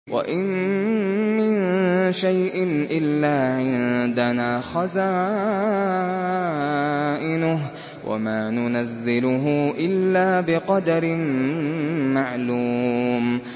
وَإِن مِّن شَيْءٍ إِلَّا عِندَنَا خَزَائِنُهُ وَمَا نُنَزِّلُهُ إِلَّا بِقَدَرٍ مَّعْلُومٍ